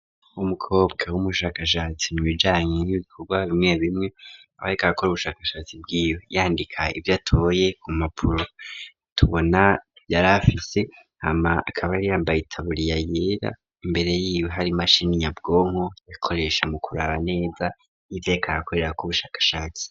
Umukobwa w'umushakashatsi mu bijanye n'ibikorwa bimwe bimwe aba ariko arakora ubushakashatsi bwiwe yandika ivyo atoye ku mpapuro tubona yarafise, hama akaba yari yambaye itaburiya yera imbere yiwe hari imashini nyabwonko yakoresha mu kuraba neza ivyo yariko arakorerako ubushakashatsi.